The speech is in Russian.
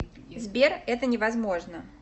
сбер это не возможно